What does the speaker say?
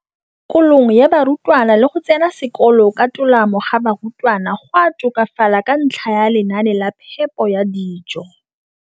kolong ga barutwana le go tsena sekolo ka tolamo ga barutwana go a tokafala ka ntlha ya lenaane la phepo ya dijo.